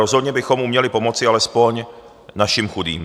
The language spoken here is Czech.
Rozhodně bychom ale měli pomoci alespoň našim chudým.